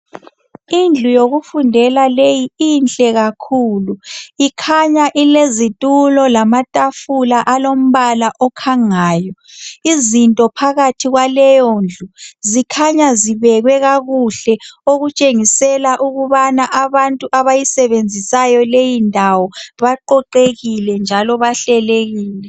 Indlu yokufundela leyi inhle kakhulu. Ikhanya ilezitulo lamatafula alombala okhangayo . Izinto phakathi kwaleyondlu, zikhanya zibekwe kakuhle, okutshengisela ukubana abantu abayisebenzisayo leyindawo baqoqekile njalo bahlelekile.